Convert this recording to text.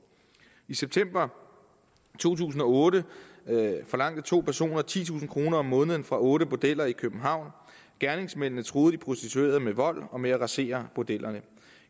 i september to tusind og otte forlangte to personer titusind kroner om måneden fra otte bordeller i københavn gerningsmændene truede de prostituerede med vold og med at rasere bordellet